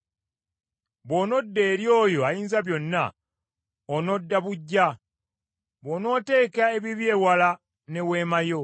Bw’onodda eri oyo Ayinzabyonna, onodda buggya, bwonooteeka ebibi ewala ne weema yo,